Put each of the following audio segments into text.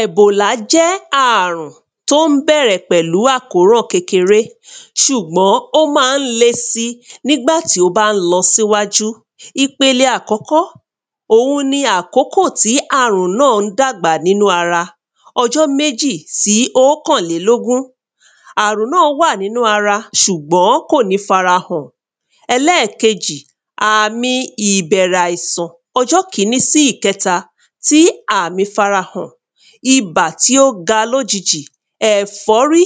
Ẹ̀bòlà jẹ́ àrùn t’ó ń bẹ̀rẹ pẹ̀lú àkóràn kékeré ṣùgbọ́n ó ma ń le sí n’ígbà tí ó bá ń lọs’íwájú. Ipele àkọ́kọ́, òun ní a àkọ́kọ́ tí àrùn náà dàgbà n’ínú ara ọjọ́ méjì sí ókànlélógún Àrùn náà wà n’ínú ara ṣùgbọ́n kò ní f'ara hàn Ẹlẹ́kejì, àmi ibẹ̀rẹ̀ àìsàn ọjọ́ kiní sí ìkẹta tí àmì f'ara hàn Ibà tí ó ga l'ójijì, ẹ̀fọ́rí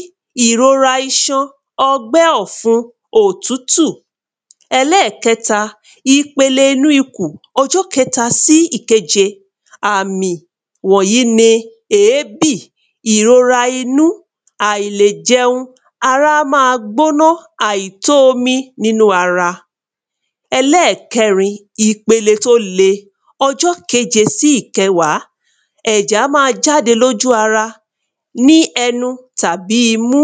ìrora iṣan, ọgbẹ́ ọ̀fun, òtútù Ẹlẹ́kẹta, ipele inú ikùn ọjọ́ kẹta sí ìkejì Àmì wọ̀nyí ni ẹ̀ẹ́bì, ìrora inú, àìlèjẹun Ara á ma gbóná, àìtó omi n’ínú ara. Ẹlẹ́kẹrin ìpele t’ó le. ọjọ́ keje sí ìkẹwàá Ẹ̀jẹ̀ á ma jáde l'ójú ara, ní ẹnu àbí ní imú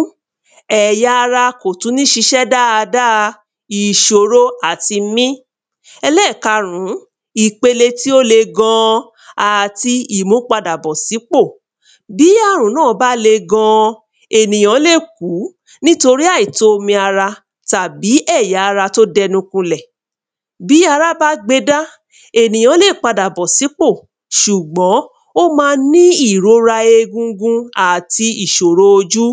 Ẹya ara kò tú ní ṣiṣẹ́ dáadáa. Ìṣòro àti mí Ẹlẹ́kẹrin ìpele tí ó le gan. Ẹlẹ́kẹrin ìpele tí ó le gan àti ìmúpadàbọ̀ s'ípọ̀ Tí àrùn náà bá le gan, ènìyàn lè kú nítorí àìtó omi ara tàbí ẹ̀ya ara t'ó d’ẹnu ko 'lẹ̀. Tí ara bá gbe dá, ènìyàn lè padà bọ̀ s’ípò ṣùgbọ́n ó ma ní ìrora egungun àti ìṣòrò ojú.